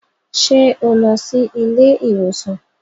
Ṣé o lọ sí ilé ìwòsàn?